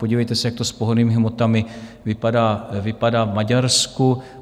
Podívejte se, jak to s pohonnými hmotami vypadá v Maďarsku.